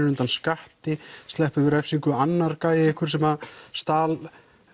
undan skatti sleppur við refsingu annar gæi einhver sem stal